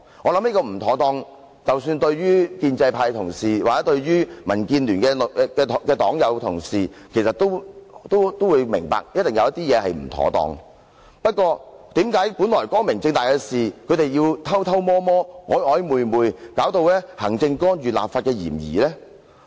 我相信，建制派同事或民建聯黨友和同事也明白，當中一定有不妥當的地方，不過，為何本來光明正大的事情，他們卻偷偷摸摸、曖曖昧昧，以致有行政干預立法的嫌疑？